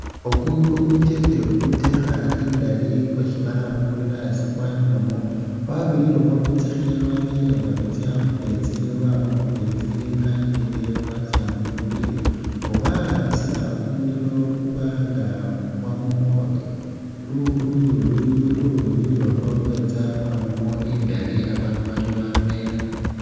Oku niko kumukyepe kutekha indali kwesi bara kumulilo asi kwaninamo kwabirilemo lusekhe lwabelenga lutsa mu meetsi lwama mu meetsi kanyirile lwatsa mu mupila nga bahambisilawo kumulilo kubanga kamamo uluyuya, uluyuya ulwo lwetsa lwaba nga lwamamo indali abaandu banywa bamela.